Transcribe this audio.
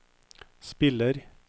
spiller